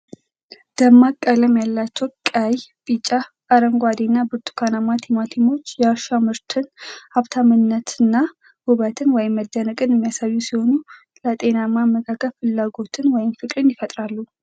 ደማቅ ቀለም ያላቸው ቀይ፣ ቢጫ፣ አረንጓዴ እና ብርቱካናማ ቲማቲሞች የእርሻ ምርትን ሀብታምነት እና ውበት (መደነቅን) የሚያሳዩ ሲሆን፣ ለጤናማ አመጋገብ ፍላጎትን (ፍቅርን) ይፈጥራሉ።